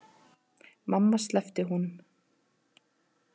Mamma sleppti honum.